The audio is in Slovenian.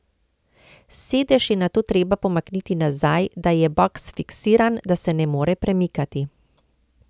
Sedež je nato treba pomakniti nazaj, da je boks fiksiran, da se ne more premikati.